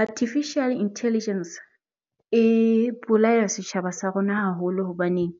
Artificial intelligence e bolaya setjhaba sa rona haholo hobaneng